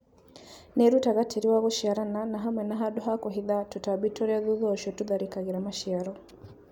Nĩrutaga tĩri wa gũciarana na hamwe na handũ ha kũhitha tũtambi tũrĩa thutha ũcio tũtharĩkagĩra maciaro